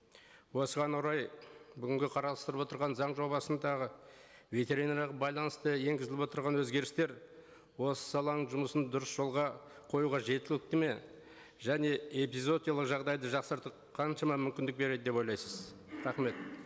осыған орай бүгінгі қарастырылып отырған заң жобасындағы ветеринариялық байланыста енгізіліп отырған өзгерістер осы саланың жұмысын дұрыс жолға қоюға жеткілікті ме және эпизоотиялық жағдайды жақсарту қаншама мүмкіндік береді деп ойлайсыз рахмет